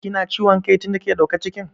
Ki na ciwom kai tin da kika ɗauka cikin?